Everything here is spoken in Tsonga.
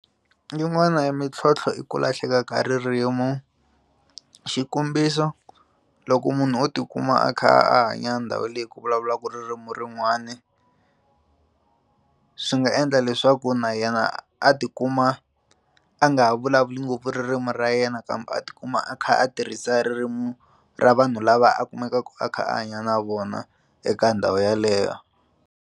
Yin'wana ya mintlhontlho i ku lahleka ka ririmu xikombiso, loko munhu o tikuma a kha a hanya ndhawu leyi ku vulavulaka ririmi rin'wani a swi nga endla leswaku na yena a tikuma a nga ha vulavuli ngopfu ririmi ra yena kambe a tikuma a kha a tirhisa ririmi ra vanhu lava a kumekaka a kha a hanya na vona eka ndhawu yaleyo.